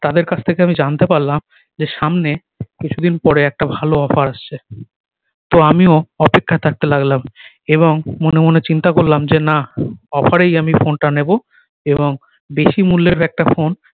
তাদের কাছ থেকে আমি জানতে পারলাম যে সামনে কিছু দিন পরে একটা ভালো offer আসছে তো আমিও অপেক্ষায় থাকতে লাগলাম এবং মনে মনে চিন্তা করলাম যে না offer রেই আমি ফোন টা নিবো এবং বেশি মূল্যের একটা ফোন